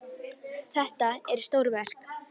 Þetta eru stór verk.